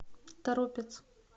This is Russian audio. торопец